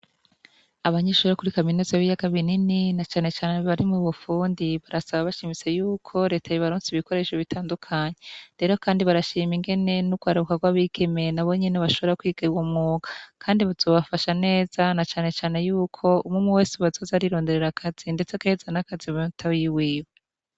Abanyishure bo kuri kaminuza b'ibiyaga binini na canecane bari mu bufundi barasaba bashimitse yuko reta yobaronsa ibikoresho bitandukanye, rero kandi barashima ingene n'urwaruka rw'abigeme nabo nyene bashobora kwiga uwo mwuga, kandi bizobafasha neza na canecane yuko umwumwe wese ubu azoza arironderera akazi ndetse agahereza n'akazi batoyi biwe.